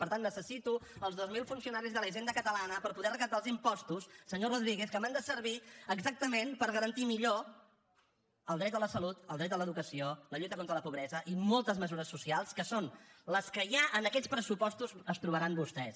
per tant necessito els dos mil funcionaris de la hisenda catalana per poder recaptar els impostos senyor rodríguez que m’han de servir exactament per garantir millor el dret a la salut el dret a l’educació la lluita contra la pobresa i moltes mesures socials que són les que ja en aquests pressupostos es trobaran vostès